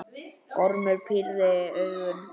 Ormur pírði augun.